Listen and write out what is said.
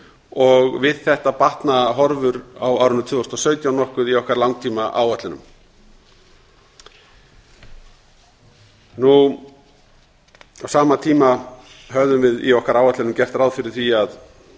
og við þetta batna horfur á árinu tvö þúsund og sautján nokkuð í okkar langtímaáætlunum á sama tíma höfðum við í okkar áætlunum gert ráð fyrir því að